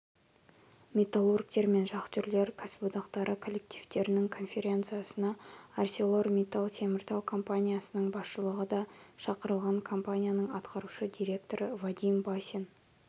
метулларгтер мен шахтерлер кәсіподақтары коллективтерінің конференциясына арселормитталтеміртау компаниясының басшылығы да шақырылған компанияның атқарушы директоры вадим басин